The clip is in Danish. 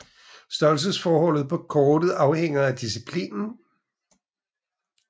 Størrelsesforholdet på kortet afhænger af disciplinen